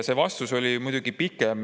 See vastus oli muidugi pikem.